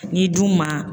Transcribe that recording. N'i dun ma